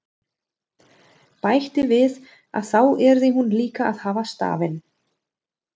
Bætti við að þá yrði hún líka að hafa stafinn.